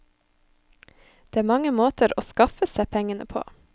Det er mange måter å skaffe seg pengene på.